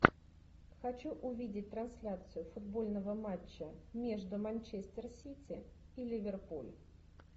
хочу увидеть трансляцию футбольного матча между манчестер сити и ливерпуль